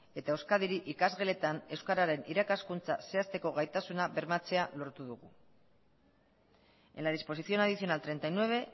eta euskadiri ikasgeletan euskararen irakaskuntza zehazteko gaitasuna bermatzea lortu dugu en la disposición adicional treinta y nueve